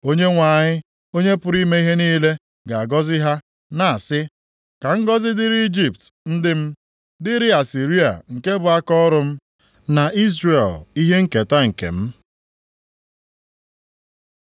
Onyenwe anyị, Onye pụrụ ime ihe niile ga-agọzi ha, na-asị, “Ka ngọzị dịrị Ijipt, ndị m, dịrị Asịrịa nke bụ akaọrụ m, na Izrel ihe nketa nke m.”